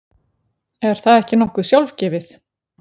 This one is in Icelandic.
Er það ekki nokkuð sjálfgefið?